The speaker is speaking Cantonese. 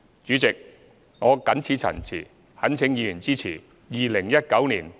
主席，我謹此陳辭，懇請議員支持《2019年撥款條例草案》。